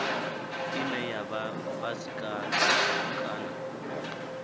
ine ya vha fhasi kana